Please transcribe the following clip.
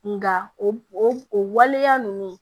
Nka o o waleya ninnu